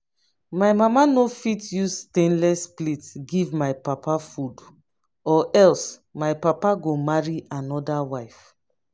my mama no fit use stainless plate give my papa food or else my papa go marry another wife